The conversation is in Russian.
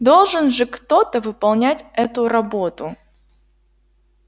должен же кто-то выполнять эту работу